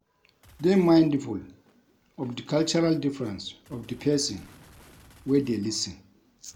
Dey mindful of di cultural difference of di person wey dey lis ten